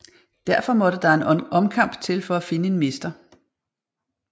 Derfor måtte der en omkamp til for at finde en mester